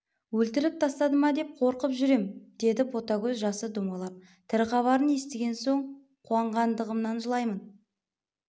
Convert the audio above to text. өлтіріп тастады ма деп қорқып жүр ем деді ботагөз жасы домалап тірі хабарын естіген соң қуанғандығымнан жылаймын